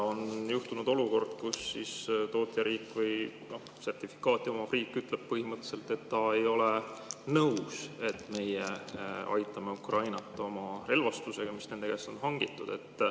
On tekkinud olukord, kus tootjariik või sertifikaati omav riik ütleb põhimõtteliselt, et ta ei ole nõus, et meie aitame Ukrainat oma relvastusega, mis nende käest on hangitud.